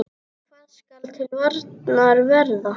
Hvað skal til varnar verða?